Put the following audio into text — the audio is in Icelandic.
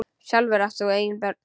Sjálfur átt þú engin börn.